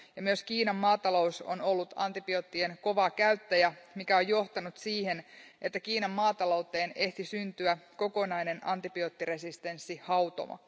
Myös Kiinan maatalous on ollut antibioottien kova käyttäjä, mikä on johtanut siihen, että Kiinan maatalouteen ehti syntyä kokonainen antibioottiresistenssihautomo.